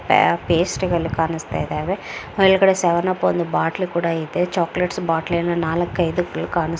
ಪಯ್ ಪೇಸ್ಟುಗಳು ಕಾಣಿಸ್ತಾ ಇದ್ದಾವೆ ಮೇಲ್ಗಡೆ ಸೆವೆನ್ ಅಪ್ ಒಂದ್ ಬಾಟಲ್ ಕೂಡಾ ಇದೆ ಚಾಕ್ಲೆಟ್ಸ್ ಬಾಟಲಿ ನಾಲಕ್ ಐದ್ ಗಳು ಕಾಣಿಸ್ತಾ ಇದ್ದಾವೆ .